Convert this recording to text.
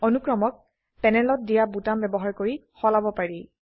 অনুক্ৰমক প্যানেলত দিয়া বোতাম ব্যবহাৰ কৰি সলাব পাৰি